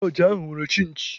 Lọọjị ahụ nwere chinchi.